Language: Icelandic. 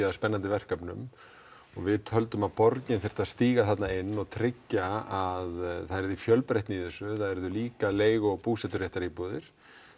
að spennandi verkefnum og við töldum að borgin þyrfti að stíga inn og tryggja að það yrði fjölbreytni í þessu það yrðu líka leigu og búseturéttaríbúðir